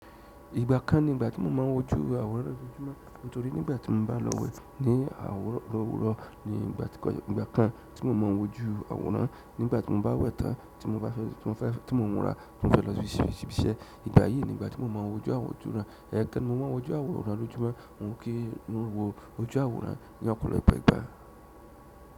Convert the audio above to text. Ìgbà kan ni ìgbà tí mo máa ń wojú àwòrán lójoojúmọ́. Nítorí nígbà tí mo bá lọ wẹ̀ ní òwúrọ̀ ni ìgbà kan tí mo ma ń wojú àwòrán. Nígbà tí mo bá wẹ̀ tán tí mo bá fẹ́ tí mo múra tí mo fẹ́ lọ ṣíbi iṣẹ́, ìgbà yìí ni ìgbà tí mo ma ń wojú àwòrán. Ẹ̀kan mo ma ń wọjú àwòrán lójúmọ́, mo ń kí n wo ojú àwòrán ní ọ̀pọ̀lọpọ̀ ìgbà.